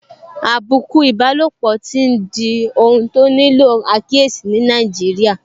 Àbùkù ìbálòpọ̀ tí n di ohun tó nílò àkíyèsí ní Nàìjíríà